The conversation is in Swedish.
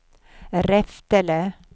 Reftele